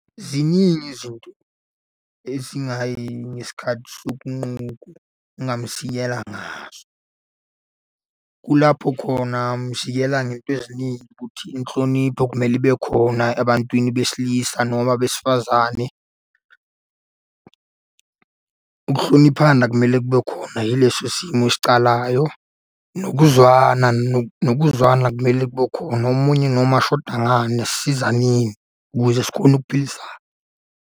Ziningi izinto ezingayi ngesikhathi ngazo. Kulapho khona mshiyela ngey'nto eziningi ukuthi inhlonipho kumele ibe khona ebantwini besilisa noma besifazane. Ukuhloniphana kumele kube khona yileso simo esicalayo. Nokuzwana nokuzwana kumele kube khona, omunye noma ashoda ngani asisizaneni ukuze sikhone ukuphilisana.